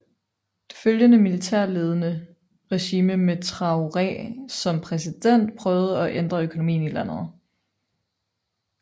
Det følgende militærledede regime med Traoré som præsident prøvede at ændre økonomien i landet